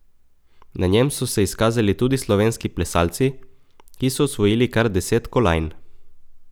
Na njem so se izkazali tudi slovenski plesalci, ki so osvojili kar deset kolajn.